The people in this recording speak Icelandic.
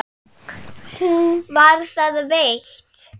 Var það veitt.